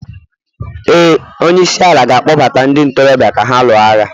ee, onye isi ala ga-akpọ gbata ndị ntorobịa ka ha lụọ agha